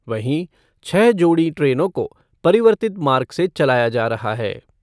वहीं, छह जोड़ी ट्रेनों को परिवर्तित मार्ग से चलाया जा रहा है।